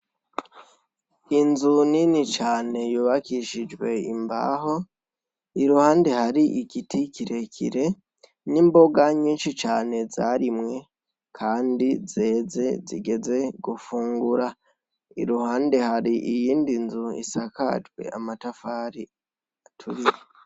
Inzu nini cane yubakishijwe imbaho, iruhande hari igiti kirekire n'imboga nyinshi cane zarimwe kandi zeze zigeze gufungura, iruhande hariyindi nzu isakajwe amatafari aturiye.